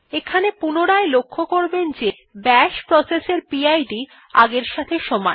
এখানে পুনরায় লক্ষ্য করবেন যে bash প্রসেস এর পিড আগের সাথে সমান